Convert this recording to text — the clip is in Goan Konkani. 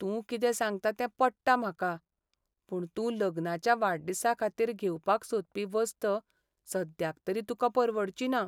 तूं कितें सांगता तें पट्टा म्हाका, पूण तूं लग्नाच्या वाडदिसा खातीर घेवपाक सोदपी वस्त सद्याक तरी तुका परवडची ना.